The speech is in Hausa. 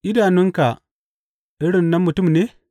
Idanunka irin na mutum ne?